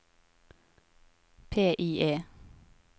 PIE